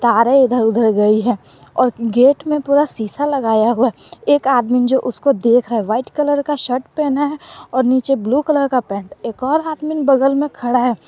तारे इधर उधर गई हैं और गेट में पूरा शीशा लगाया हुआ है एक आदमी जो उसको देख रहा है वाइट कलर का शर्ट पहना है और नीचे ब्लू कलर का पेंट एक और आदमी बगल में खड़ा है।